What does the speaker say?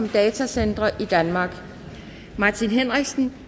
halvtreds martin henriksen